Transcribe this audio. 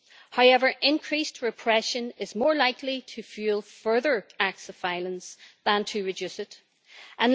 However, increased repression is more likely to fuel further acts of violence than to reduce them.